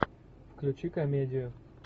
включи комедию